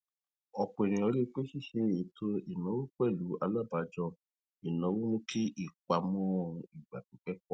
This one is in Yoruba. ọpọ ènìyàn rí i pé ṣíṣe ètò ináwó pẹlú alábàájọ ináwó mú kí ìpamọ igba pipẹ pọ